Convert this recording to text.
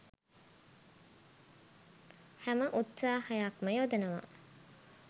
හැම උත්සාහයක්ම යොදනවා.